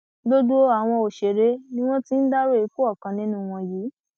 gbogbo àwọn òṣèré ni wọn ti ń dárò ikú ọkàn nínú wọn yìí